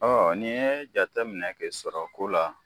n'i yee jateminɛ kɛ sɔrɔ ko la